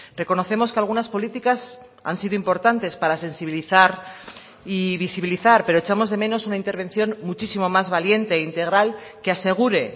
reconocemos que algunas políticas han sido importantes para sensibilizar y visibilizar pero echamos de menos una intervención muchísimo más valiente e integral que asegure